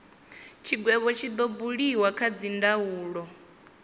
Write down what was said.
tshigwevho tshi do buliwa kha dzindaulo